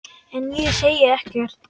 En ég segi ekkert.